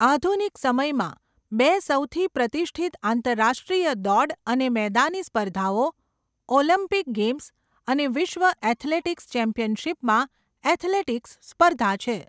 આધુનિક સમયમાં, બે સૌથી પ્રતિષ્ઠિત આંતરરાષ્ટ્રીય દોડ અને મેદાની સ્પર્ધાઓ ઓલિમ્પિક ગેમ્સ અને વિશ્વ એથ્લેટિક્સ ચેમ્પિયનશિપમાં એથ્લેટિક્સ સ્પર્ધા છે.